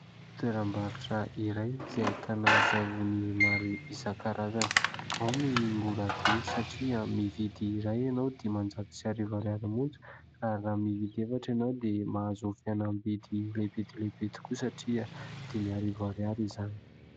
Toeram-barotra iray izay ahitana savony maro isankarazany. Ao ny mora be satria mividy iray ianao diman-jato sy arivo ariary monja ary raha mividy efatra ianao dia mahazo fihenambidy lehibe dia lehibe tokoa satria dimy arivo ariary izany.